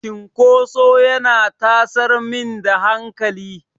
Cinkoso yana tasar min da hankali.